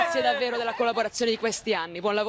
Grazie davvero della collaborazione di questi anni.